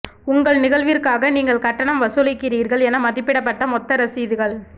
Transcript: உங்கள் நிகழ்விற்காக நீங்கள் கட்டணம் வசூலிக்கிறீர்கள் என மதிப்பிடப்பட்ட மொத்த ரசீதுகள்